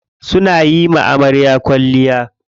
Suna yiwa amarya kwalliya.